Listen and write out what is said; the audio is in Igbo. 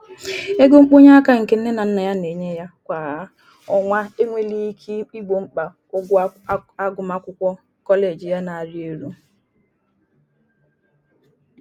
Ego mkpọnyeaka nke nne na Nna ya na-enye ya kwà ọnwa inwelighi ike igbo mkpa ụgwọ agụmakwụkwọ koleji ya na-arị elu.